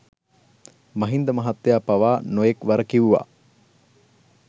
මහින්ද මහත්තය පවා නොයෙක් වර කිව්වා